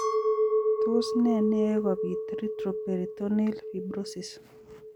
Tos ne neyoe kobit retroperitoneal fibrosis?